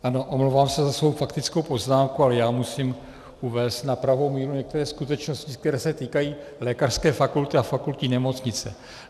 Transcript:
Ano, omlouvám se za svou faktickou poznámku, ale já musím uvést na pravou míru některé skutečnosti, které se týkají lékařské fakulty a fakultní nemocnice.